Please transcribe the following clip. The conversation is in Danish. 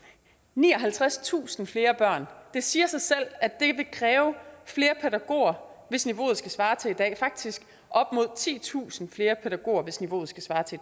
nioghalvtredstusind flere børn det siger sig selv at det vil kræve flere pædagoger hvis niveauet skal svare til i dag faktisk op mod titusind flere pædagoger hvis niveauet skal svare til